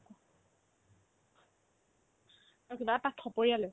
তাৰপিছত আৰ্ তাক থপৰিয়ালে